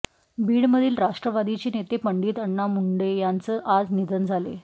बीडमधील राष्ट्रवादीचे नेते पंडित अण्णा मुंडे यांचं आज निधन झाले